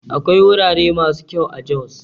Akwai wurare masu kyau a Jos